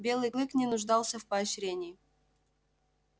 белый клык не нуждался в поощрении